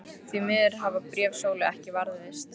Því miður hafa bréf Sólu ekki varðveist.